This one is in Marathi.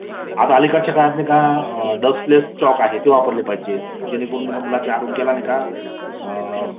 आता अलीकडचा काळात नाही का डस्टलेस चॉक आहेत त्यामुळे मुलांचा आरोग्याला नाही का अ ..